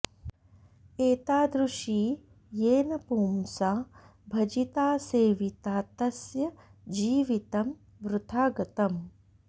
एतादृशी येन पुंसा भजिता सेविता तस्य जीवितं वृथा गतम्